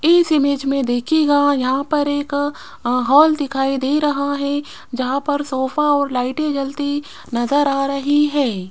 इस इमेज में देखिएगा यहां पर एक हॉल दिखाई दे रहा है जहां पर सोफा और लाइटें जलती नजर आ रही है।